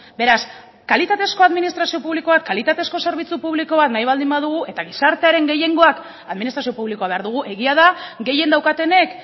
beraz kalitatezko administrazio publikoak kalitatezko zerbitzu publiko bat nahi baldin badugu eta gizartearen gehiengoak administrazio publikoa behar dugu egia da gehien daukatenek